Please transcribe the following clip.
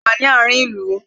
A wà ní àárín ìlú